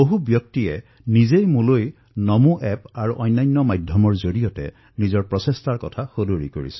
কিমান লোকে মোক নমো এপ আৰু অন্যান্য মাধ্যমৰ জৰিয়তে এই কথা জানিবলৈ দিছে